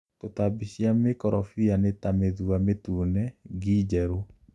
Tũtambi cia mĩkorobia nĩta mĩthũa mĩtune, ngi njerũ.